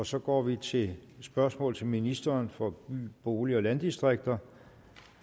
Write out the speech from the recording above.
så går vi til spørgsmål til ministeren for by bolig og landdistrikter